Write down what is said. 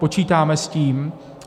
Počítáme s tím.